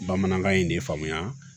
Bamanankan in de faamuya